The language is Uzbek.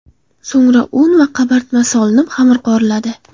So‘ngra un va qabartma solinib, xamir qoriladi.